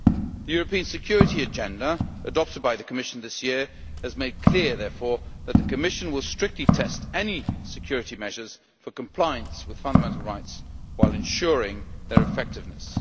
The European Security Agenda adopted by the Commission this year has made clear, therefore, that the Commission will strictly test any security measures for compliance with fundamental rights, while ensuring their effectiveness.